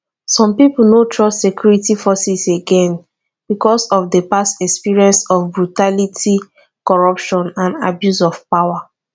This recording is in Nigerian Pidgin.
some people no trust security forces again because of di past experiences of brutality corruption and abuse of power